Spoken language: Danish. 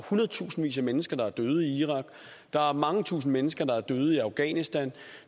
hundredtusindvis af mennesker der er døde i irak der er mange tusinde mennesker der er døde i afghanistan